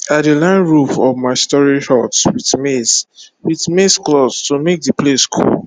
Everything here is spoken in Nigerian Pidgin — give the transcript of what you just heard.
i dey line roof of my storage hut with maize with maize cloth to make the place cool